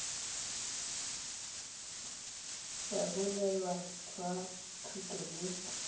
ya boleng jwa thuto le